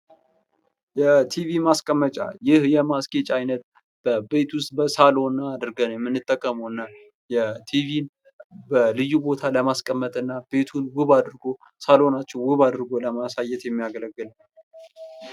የቲቪ ማስቀመጫ ይህ የማስጌጫ አይነት በቤት ውስጥ በሳሎን አድርገን የምንጠቀመውና የቲቪን በልዩ ቦታ ለማስቀመጥና ቤቱን ውብ አድርጎ ሳሎናችንን አድርጎ ለማሳየት የሚያገለግል ::